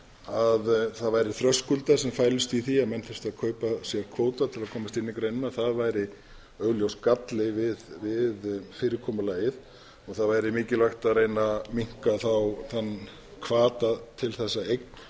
að það væru þröskuldar sem fælust í því að menn þyrftu að kaupa sér kvóta til að komast inn í greinina það væri augljós galli við fyrirkomulagið og það væri mikilvægt að minnka þann hvata til þess